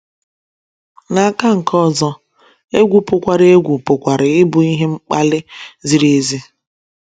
N’aka nke ọzọ, egwu pụkwara egwu pụkwara ịbụ ihe mkpali ziri ezi.